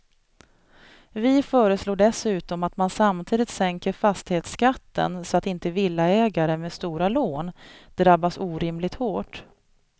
Vi föreslår dessutom att man samtidigt sänker fastighetsskatten så att inte villaägare med stora lån drabbas orimligt hårt.